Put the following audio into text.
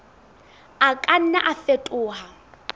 a ka nna a fetoha